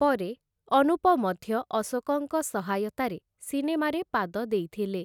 ପରେ, ଅନୁପ ମଧ୍ୟ ଅଶୋକଙ୍କ ସହାୟତାରେ ସିନେମାରେ ପାଦ ଦେଇଥିଲେ ।